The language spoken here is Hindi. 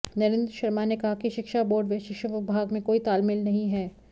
नरेंद्र शर्मा ने कहा कि शिक्षा बोर्ड व शिक्षा विभाग में कोई तालमेल नहीं है